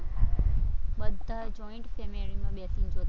બધા joint family માં બેસીને જોતા